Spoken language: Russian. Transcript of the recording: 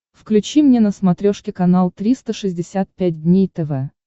включи мне на смотрешке канал триста шестьдесят пять дней тв